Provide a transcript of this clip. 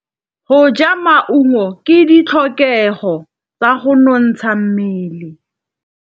Go ja maungo ke ditlhokegô tsa go nontsha mmele.